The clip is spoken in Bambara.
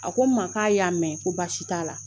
A ko n ma k'a y'a mɛn ko baasi t'a la.